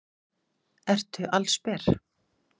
Ertu allsber?